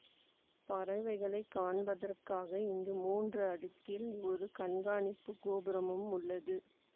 பறவைகளை காண்பதற்காக இங்கு மூன்று அடுக்கில் ஒரு கண்காணிப்பு கோபுரமும் உள்ளது